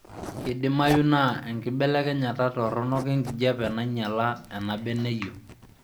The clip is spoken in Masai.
Keidimayu naa enkibelekenyata torok enkijape nainyala enabeneyio